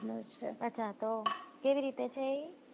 અચ્છા ત કેવી રીતે છે એ